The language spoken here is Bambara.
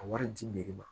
A wari di nere ma